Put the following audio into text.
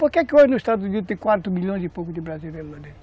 Porque que hoje no Estados Unidos tem quatro milhões e pouco de brasileiros lá dentro?